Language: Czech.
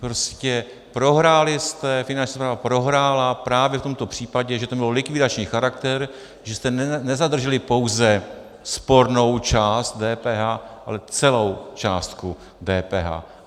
Prostě prohráli jste, Finanční správa prohrála právě v tomto případě, že to mělo likvidační charakter, že jste nezadrželi pouze spornou část DPH, ale celou částku DPH.